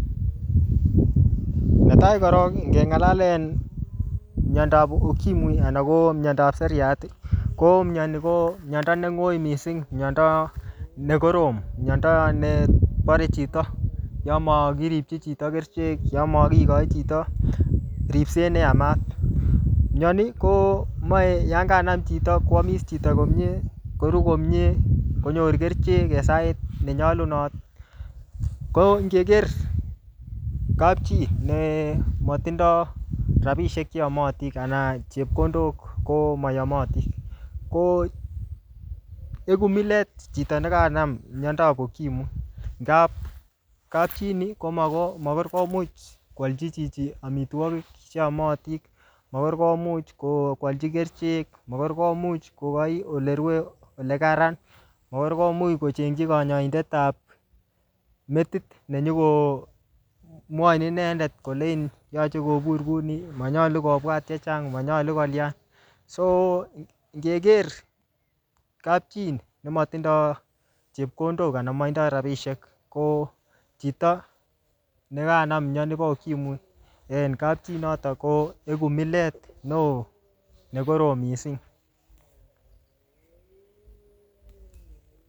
Netai koron, ngeng'alalen miandob ukimwi anan ko miandob seriat, ko miani ko miando ne ng'oi mssing. Miando ne korom. Miando ne bare chito yomokiripchi chito kerichek, yamokikochi chito ripset ne yamat, Miani komache yanganam chito, koamis chito komyee, koruu komyee, konyor kerichek en sait nenyolunot. Ko ngeker kapchii nematindoi rabisiek che yamati, anan chepkondok komayomati, ko eku milet chito nekanam miandob ukimwi. Ngap kapchii ini, ko makoi-makor komuch koalchi chichi amitwogik che amati. Makor komuch koalchi kerichek. Makor komuch kokochi ole rue, ole kararan. Makor komuch kochengchi kanyaindetab metit ne nyikomwachin inendet yache kobur kouni, manyolu kobwat chechang, manyolu kolian. So ngeker kapchii nematindoi chepkondok anan matindoi rabisiek, ko chito ne kanam miani bo ukimwi en kapchii notok ko eku milet ne oo ne korom missing